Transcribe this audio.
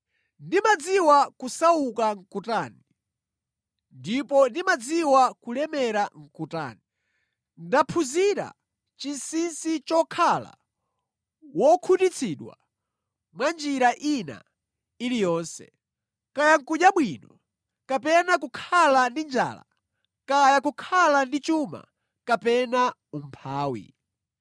Ndimadziwa kusauka nʼkutani, ndipo ndimadziwa kulemera nʼkutani. Ndaphunzira chinsinsi chokhala wokhutitsidwa mwa njira ina iliyonse, kaya nʼkudya bwino kapena kukhala ndi njala, kaya kukhala ndi chuma kapena umphawi.